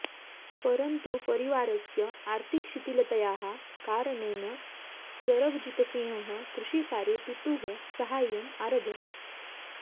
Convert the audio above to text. परन्तु परिवारस्य आर्थिकशिथिलतायाः कारणेन सरबजितसिंहः कृषिकार्ये पितुः साहाय्यम् आरभत